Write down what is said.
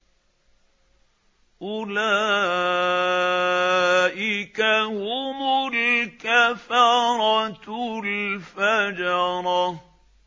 أُولَٰئِكَ هُمُ الْكَفَرَةُ الْفَجَرَةُ